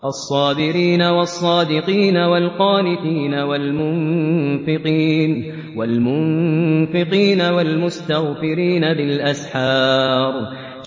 الصَّابِرِينَ وَالصَّادِقِينَ وَالْقَانِتِينَ وَالْمُنفِقِينَ وَالْمُسْتَغْفِرِينَ بِالْأَسْحَارِ